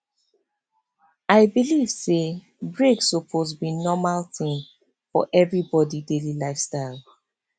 i believe say break suppose be normal thing for everybody daily lifestyle